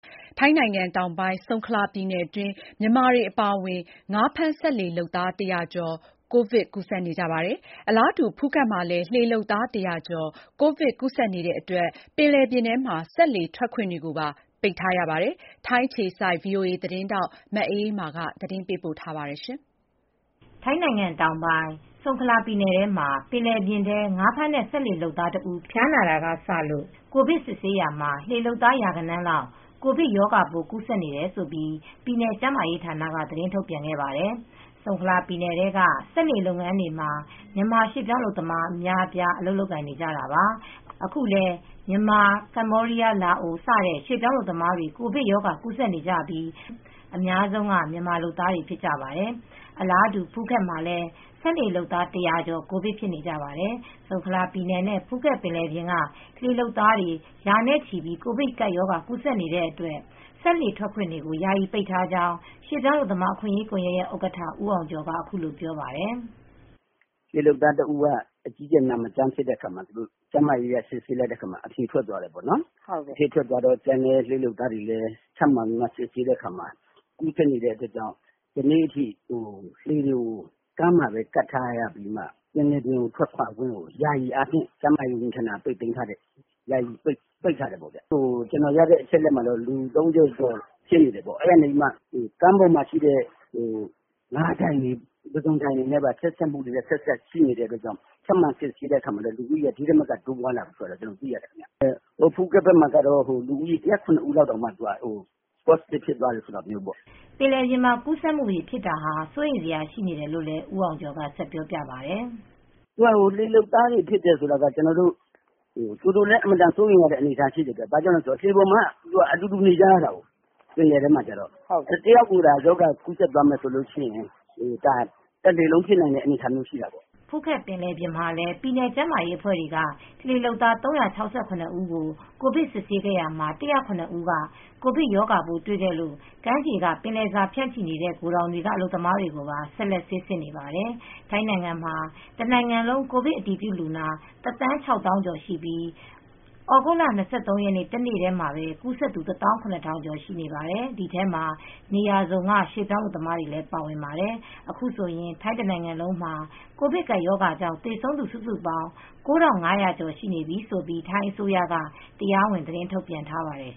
ထိုင်းနိုင်ငံ တောင်ပိုင်း ဆုန်ခလာပြည်နယ်အတွင်း မြန်မာတွေအပါအဝင် ငါးဖမ်းစက်လှေလုပ်သား ၁၀၀ ကျော် ကိုဗစ်ရောဂါ ကူးစက်နေကြပါတယ်။ အလားတူ ဖူးခက်မှာလည်း လှေလုပ်သား ၁၀၀ ကျော် ကိုဗစ်ကူးစက်နေတဲ့အတွက် ပင်လယ်ပြင်ထဲ စက်လှေထွက်ခွင့်တွေကို ပိတ်ထားပါတယ်။ ထိုင်းအခြေစိုက် ဗွီအိုအေသတင်းထောက် မအေးအေးမာက ဆက်ပြောပြပေးမှာပါ။ ထိုင်းနိုင်ငံ တောင်ပိုင်းဆုံခလာပြည်နယ်ထဲမှာ ပင်လယ်ပြင်ထဲငါးဖမ်းတဲ့ စက်လှေလုပ်သားတဦး ဖျားနာတာကစလို့၊ ကိုဗစ်စစ်ဆေးရာမှာ လှေလုပ်သား ရာဂဏန်းလောက် ကိုဗစ်ရောဂါပိုး ကူးစက်နေတယ်လို့ ပြည်နယ်ကျန်းမာရေးဌာနက သတင်းထုတ်ပြန်ခဲ့ပါတယ်။ ဆုံခလာပြည်နယ်ထဲက စက်လှေလုပ်ငန်းတွေမှာ မြန်မာရွှေ့ပြောင်းလုပ်သားအများအပြား အလုပ်လုပ်နေကြတာပါ။ အခုလည်း မြန်မာ ကမ္ဘောဒီးယား လာအို စတဲ့ရွှေပြောင်းအလုပ်သမားတွေ ကိုဗစ်ရောဂါ ကူးစက်နေကြပြီး အများဆုံးက မြန်မာလုပ်သားတွေဖြစ်ကြပါတယ်။ အလားတူ ဖူးခက်မှာလည်း စက်လှေလုပ်သား ၁၀၀ ကျော် ကိုဗစ်ဖြစ်နေကြပါတယ်။ ဆုံခလာပြည်နယ်နဲ့ ဖူးခက်ပင်လယ်ပြင်က လှေလုပ်သားရာနဲ့ချီမှာ ကိုဗစ်ကပ်ရောဂါ ကူးစက်နေတဲ့အတွက် စက်လှေထွက်ခွင့်တွေကို ယာယီပိတ်ထားကြောင်းရွေပြောင်းအလုပ်သမားအခွင့်ရေးကွန်ယက်ရဲ့ဥက္ကဌ ဦးအောင်ကျော်က အခုလိုပြောပါတယ်။ " လှေလုပ်သားတဦးက အကြီးအကျယ် မကျန်းမမာဖြစ်ရာကနေ ကျန်းမာရေးအရ စစ်ဆေးတဲ့အခါမှာ အဖြေထွက်သွားတယ်။ တခြားလှေလုပ်သားတွေကိုလည်းထပ်မံစစ်ဆေးရာကနေ ကူးစက်နေတဲအတွက် ဒီနေ့အထိ လှေတွေကိုကမ်းမှာကပ်ထားပြီးမှ ပင်လယ်ပြင်မှာလှေထွက်ခွင့်တွေကို ကျန်းမာရေးဝန်ကြီးဌာနက ယာယီပိတ်ထားတယ်။ ကျနော်ရတဲ့အချက်အလက်အရ လူ ၃၀ဖြစ်နေတယ်။ ကမ်းပေါ်က ပုဇွန်ဒိုင်တွေ ငါးဒိုင်နဲ့ဆက်စပ်နေလို့ စစ်ဆေးလိုက်တော့ ဒီထက်မကတိုးလာတယ်လို့ကျနော်သိရပါတယ်။ ဖူးခက်မှာတော့လှေ လုပ်သား ၁၀၇ ဦးလောက ် ပေါ့စတစ်ဖြစ်သွားတယ်" ပင်လယ်ပြင်မှာ ကူးစက်မူဖြစ်တာဟာ စိုးရိမ်စရာအခြေအနေရှိတယ်လို့ ဦးအောင်ကျော်က " လှေလုပ်သားတွေဖြစ်တော့အတော်စိုရိမ်ရတယ်လှေပေါ်မှာက အတူတူနေရတယ် ပင်လယ်ပြင်မှာက တယောက်ကိုကူးစက်တာနဲ့တလှေလုံးဖြစ်နိုင်တဲ့အနေအထားမျိုးရှိတာပေါ့" ဖူးခက်ပင်လယ်ပြင်မှာလည်း ပြည်နယ်ကျန်းမာရေးအဖွဲ့တွေက လှေလုပ်သား ၃၆၇ ဦး ကို ကိုဗစ်စစ်ဆေးစစ်ဆေးခဲ့ရာမှာ ၁၀၇ ဦးက ကိုဗစ်ရောဂါ ပိုးတွေခဲ့လို့ ကမ်းခြေက ပင်လယ်စာ ဖြန့်ချီနေတဲ့ ဂိုဒေါင်တွေက အလုပ်သမားတွေကိုပါ ဆက်လက်ဆေးစစ်နေပါတယ်။ ထိုင်းနိုင်ငံမှာ တနိုင်ငံလုံး ကိုဗစ်အတည်ပြုလူနာ တသန်းခြောက်သောင်းကျော် ရှိပြီး သြဂုတ်လ ၂၃ ရက်နေ့ တနေ့တည်း ကူးစက်သူ ၁ သောင်း ရ ထောင်ကျော်ရှိပါတယ်။ ဒီထဲမှာ နေရာစုံက ရွှေ့ပြောင်းအလုပ်သမားတွေလည်းပါဝင်ပါတယ်။ အခုဆိုရင် ထိုင်းတနိုင်ငံလုံးမှာ ကိုဗစ်ကပ်ရောဂါကြောင့် သေဆုံးသူစုစုပေါင်း ၉ ထောင့် ၅ ရာကျော်ရှိနေပြီလို့ ထိုင်းအစိုးရက တရားဝင်သတင်းထုတ်ပြန်ထားပါတယ်